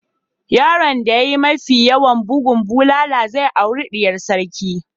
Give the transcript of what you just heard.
Yaron da ya yi mafi yawan bugun bulala zai auri diyar sarki.